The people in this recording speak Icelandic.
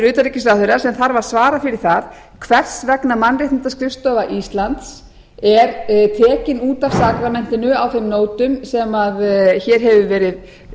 utanríkisráðherra sem þarf að svara fyrir það hvers vegna mannréttindaskrifstofa íslands er tekin út af sakramentinu á þeim nótum sem hér hefur verið